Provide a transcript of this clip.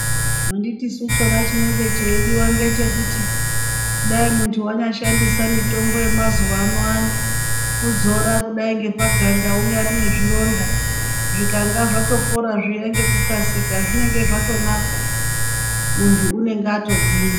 Anditisu chona chinenge cheidiwa ngechekuti kudai munthu anyashandisa mitombo yemazuwaanaya kuzora kudai ngepaganda unyari nezvironda zvikanga zvatopora zviya ngekukasika zvinenge zvatonaka munthu unenge atogwinya.